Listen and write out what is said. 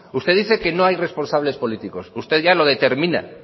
usted dice que no hay responsables políticos usted ya lo determina